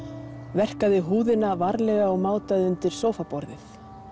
verkaði húðina varlega og mátaði undir sófaborðið